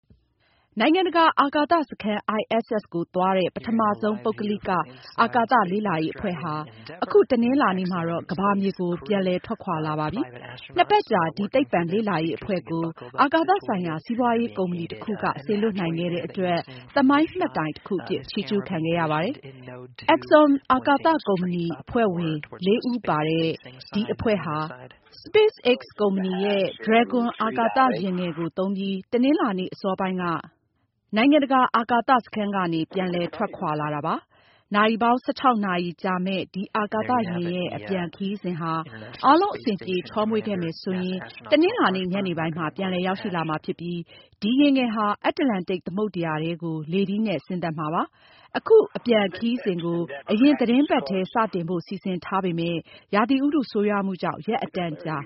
နိုင်ငံတကာ အာကာသစခန်း ISS ကိုသွားတဲ့ ပထမဆုံး ပုဂ္ဂလိက အာကာသ လေ့လာရေးအဖွဲ့ဟာ အခု တနင်္လာနေ့မှာတော့ ကမ္ဘာမြေကို ပြန်လည်ထွက်ခွာလာပါပြီ။ နှစ်ပတ်ကြာ ဒီ သိပ္ပံလေ့လာရေးအဖွဲ့ကို အာကာသဆိုင်ရာ စီးပွားရေးကုမ္ပဏီတခုကနေ စေလွှတ်နိုင်ခဲ့တဲ့အတွက် သမိုင်းမှတ်တိုင်တခုအဖြစ် ချီးကျူးခံခဲ့ရပါတယ်။ Axiom အာကာသကုမ္ပဏီက အဖွဲ့ဝင် လေးဦးပါတဲ့ ဒီအဖွဲ့ဟာ Space X ကုမ္ပဏီရဲ့ Dragon အာကာသယာဉ်ငယ်ကိုသုံးပြီး တနင်္လာနေ့အစောပိုင်းက နိုင်ငံတကာအာကာသစခန်းကနေ ပြန်လည်ထွက်ခွာလာတာပါ။ နာရီပေါင်း ၁၆ နာရီကြာမြင့်မယ့် ဒီအာကာသယာဉ်ရဲ့ အပြန်ခရီးစဉ်ဟာ အားလုံးအဆင်ပြေချော့မွေ့ခဲ့မယ်ဆိုရင် တနင်္လာနေ့ ညနေပိုင်းမှာ ပြန်လည်ရောက်ရှိလာမှာဖြစ်ပြီး ဒီယာဉ်ငယ်ဟာ အတ္တလန္တိတ်သမုဒ္ဒရာထဲကို လေထီးနဲ့ဆင်းသက်မှာဖြစ်ပါတယ်။ အခုအပြန်ခရီးစဉ်ကို အရင်သီတင်းပတ်ထဲ စတင်ဖို့ စီစဉ်ထားပေမယ့် ရာသီဥတုဆိုးရွားမှုကြောင့် ရက်အတန်ကြာ